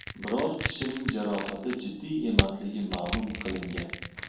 Biror kishining jarohati jiddiy emasligi ma’lum qilingan.